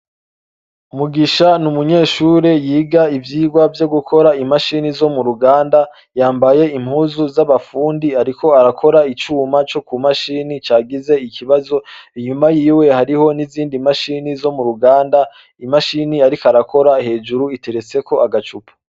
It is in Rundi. Mugisha n'umunyeshure yiga ivyigwa vyo gukora imashine zo mu ruganda yambaye impuzu z'abafundi ariko arakora icuma co mu mashini cagize ikibazo, inyuma yiwe hariho nizindi mashini zo mu ruganda, imashini ariko arakora iteretseko agacupa.